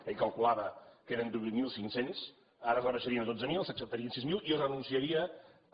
ell calculava que eren divuit mil cinc cents ara rebaixarien a dotze mil s’acceptarien sis mil i renunciaria a